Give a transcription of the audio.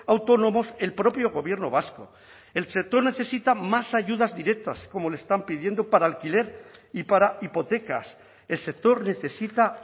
autónomos el propio gobierno vasco el sector necesita más ayudas directas como le están pidiendo para alquiler y para hipotecas el sector necesita